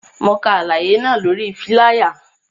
Mo ka alaye náa lori filaya